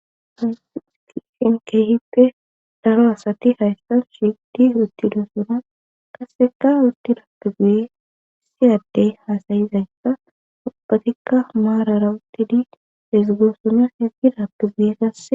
Haysi keehippe daro asati hayssan shiidi uttido sonan qasseka urti raappe guye siyaddey hasayizayssa opatikka maarara uttidi ezigoossonya ezgidappe guye qase